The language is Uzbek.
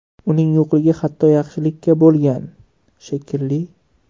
Uning yo‘qligi hatto yaxshilikka bo‘lgan, shekilli.